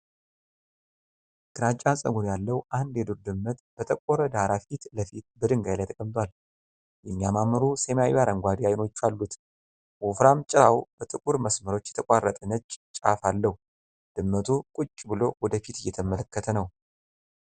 ግራጫ ፀጉር ያለው አንድ የዱር ድመት በጠቆረ ዳራ ፊት ለፊት በድንጋይ ላይ ተቀምጧል። የሚያማምሩ ሰማያዊ-አረንጓዴ አይኖች አሉት። ወፍራም ጭራው በጥቁር መስመሮች የተቋረጠ ነጭ ጫፍ አለው። ድመቱ ቁጭ ብሎ ወደ ፊት እየተመለከተ ነው።